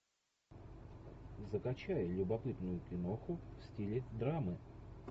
закачай любопытную киноху в стиле драмы